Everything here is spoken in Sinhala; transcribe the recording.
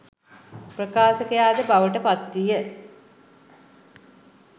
ප්‍රකාශකයා ද බවට පත්විය